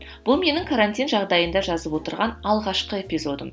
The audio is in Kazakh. бұл менің карантин жағдайында жазып отырған алғашқы эпизодым